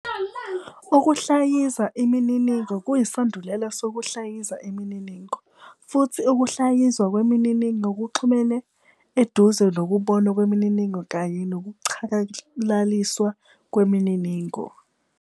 Ukuhlayiza imininingo kuyisandulela sokuhlaziya imininingo, futhi ukuhlaziywa kwemininingo kuxhumene eduze nokubonwa kwemininingo kanye nokuchakalaliswa kwemininingo.